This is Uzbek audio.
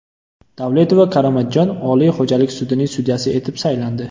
Davletova Karomatjon Oliy xo‘jalik sudining sudyasi etib saylandi.